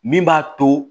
Min b'a to